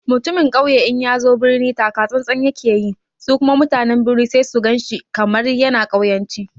Mutumin ƙauye in yazo birnin taka tsan-tsan yake yi, su kuma mutanen birni sai su gan shi kamar yana ƙauyanci.